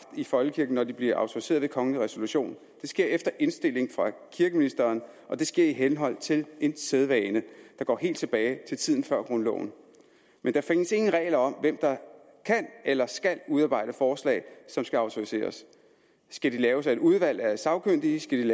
i folkekirken når de bliver autoriseret ved kongelig resolution det sker efter indstilling fra kirkeministeren og det sker i henhold til en sædvane der går helt tilbage til tiden før grundloven men der findes ingen regler om hvem der kan eller skal udarbejde forslag som skal autoriseres skal de laves af et udvalg af sagkyndige skal